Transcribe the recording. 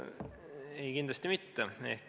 Ei, kindlasti mitte.